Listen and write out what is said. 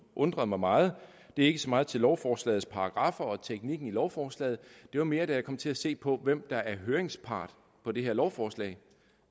undrer mig meget det er ikke så meget til lovforslagets paragraffer og teknikken i lovforslaget det var mere da jeg kom til at se på hvem der er høringspart på det her lovforslag